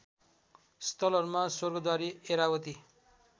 स्थलहरूमा स्वर्गद्वारी ऐरावती